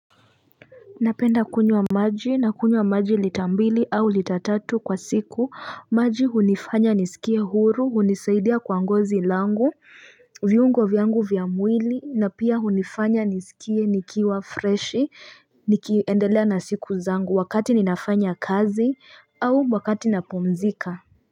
Napenda kunywa maji na kunywa maji lita mbili au litatatu kwa siku, maji hunifanya nisikie huru, hunisaidia kuangozi langu, viungo vyangu vyangu vya mwili na pia hunifanya nisikie nikiwa fresh, nikiendelea na siku zangu wakati ninafanya kazi au wakati napomzika.